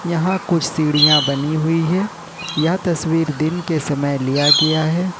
यहां कुछ सीढ़ियां बनी हुई है या तस्वीर दिन के समय लिया गया है।